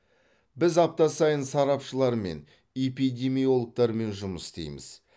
біз апта сайын сарапшылармен эпидемиологтармен жұмыс істейміз